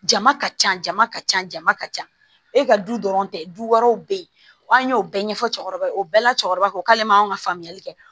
Jama ka ca jama ka ca jama ka ca e ka du dɔrɔn tɛ du wɛrɛw bɛ yen an y'o bɛɛ ɲɛfɔ cɛkɔrɔbaw ye o bɛɛ la cɛkɔrɔba ko k'ale man ka faamuyali kɛ